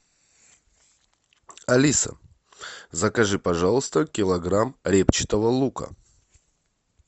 алиса закажи пожалуйста килограмм репчатого лука